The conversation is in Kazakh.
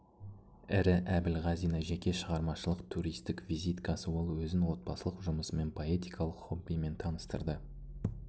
ірі әбілғазина жеке шығармашылық туристік визиткасы ол өзін отбасылық жұмысымен поэтикалық хоббімен таныстырды